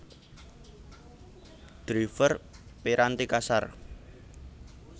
Driver piranti kasar